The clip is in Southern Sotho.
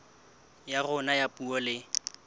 ya rona ya puo le